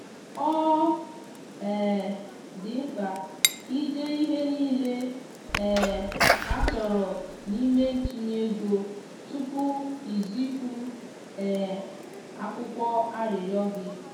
ọ um dị mkpa ka i dee ihe niile um a chọrọ n’ime ntụnye ego tupu i zipụ um akwụkwọ arịrịọ gị.